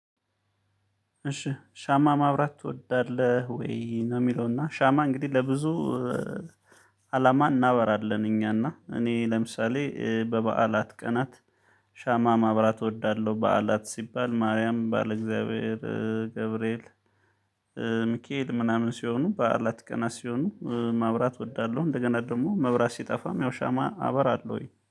እሺ ሻማ ማብራት ትወዳለህ ወይ? ነው የሚለውና ሻማ እንግዲህ ለብዙ አላማ እናበራለን እኛና እኔ ለምሳሌ በበዓላት ቀናት ሻማ ማብራት እወዳለሁ፤። በዓላት ሲባል ማርያም ባለ እግዚአብሔር ገብርኤል ሚኬየል ምናምን ሲሆኑ በዓላት ቀና ሲሆኑ ማብራት እወዳለሁ። እንደገና ደግሞ መብራት ሲጠፋም ያው ሻማ አበራለሁኝ፤